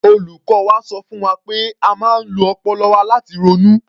Olùkọ́ wa sọ fún wa pé a máa ń lo ọpọlọ wa láti ronú.